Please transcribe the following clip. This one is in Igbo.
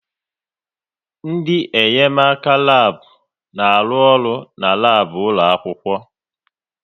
Ndị enyemaka n'labu na-arụ ọrụ n'labu ụlọ akwụkwọ